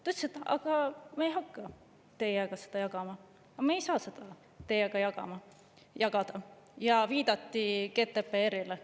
Ta ütles: "Aga me ei hakka teiega seda jagama, me ei saa seda teiega jagada," ja viidati GDPR-ile.